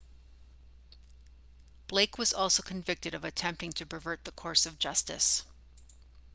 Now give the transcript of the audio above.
blake was also convicted of attempting to pervert the course of justice